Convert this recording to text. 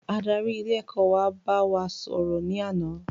Adarí ilé ẹ̀kọ́ wa bá wa sò rò ní àná